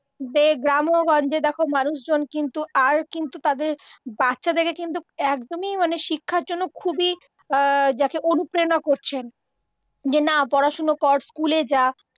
দে গ্রামে ও গঞ্জে দেখো মানুষজন কিন্তু আর কিন্তু তাদের বাচ্চাদেরকে কিন্তু একদমই মানে শিক্ষার জন্য খুবই যাকে অনুপ্রেরণা করছেন, যে না পড়াশুনো কর, স্কুলে যা